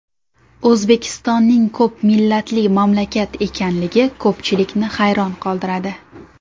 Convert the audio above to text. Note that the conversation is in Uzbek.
O‘zbekistonning ko‘p millatli mamlakat ekanligi ko‘pchilikni hayron qoldiradi.